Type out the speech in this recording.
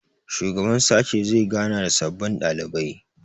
shugaban sashe zai gana da sababbin ɗalibai